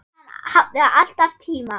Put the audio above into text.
Hann hafði alltaf tíma.